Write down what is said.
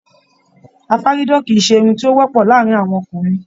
Afaridán kìí ṣe irun ti o wọpọ láàrin àwọn ọkùnrin